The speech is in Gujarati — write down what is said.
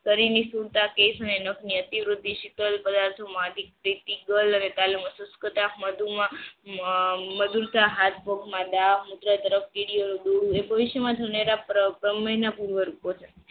શરીર ની સ્ફુરતા તેજ નેનો ની અતિ વૃદ્ધિ શીતલ પદાર્થો માટે હાથ પગ મા